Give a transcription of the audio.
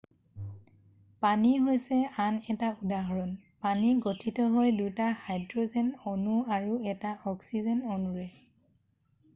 পানী হৈছে আন এটা উদাহৰণ পানী গঠিত হয় দুটা হাইড্ৰ'জেন অণু আৰু এটা অক্সিজেন অণুৰে